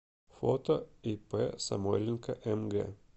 фото ип самойленко мг